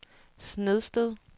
Snedsted